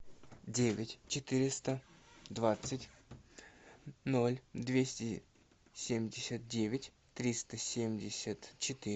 девять четыреста двадцать ноль двести семьдесят девять триста семьдесят четыре